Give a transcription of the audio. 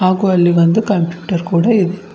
ಹಾಗೂ ಅಲ್ಲಿ ಒಂದು ಕಂಪ್ಯೂಟರ್ ಕೂಡ ಇದೆ.